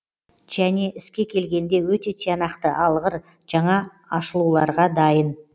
және іске келгенде өте тиянақты алғыр жаңа ашылуларға дайын